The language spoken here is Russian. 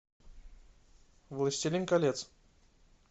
властелин колец